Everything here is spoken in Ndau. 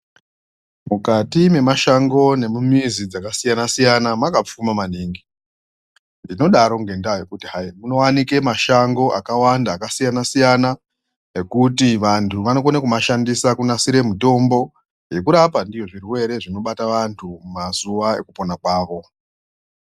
Mukati mwemashango nemumizi dzakasiyana siyana mwakapfuma maningi ndinodaro ngenda yekuti hai munowanike mashango akawanda akasiyana siyana ekuti vantu vanokone kumashandisa kunasire mutombo yekurapa ndiyo zvirwere zvinobata anhu mazuwa ekupona kwawo.